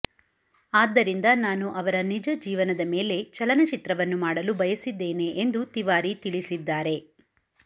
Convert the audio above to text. ಆದ್ದರಿಂದ ನಾನು ಅವರ ನಿಜ ಜೀವನದ ಮೇಲೆ ಚಲನಚಿತ್ರವನ್ನು ಮಾಡಲು ಬಯಸಿದ್ದೇನೆ ಎಂದು ತಿವಾರಿ ತಿಳಿಸಿದ್ದಾರೆ